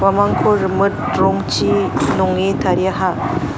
uamangko rimit rongchi nonge tariaha.